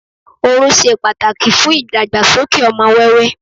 orun se pàtàkì fún ìdàgbàsókè ọmọ wẹwẹ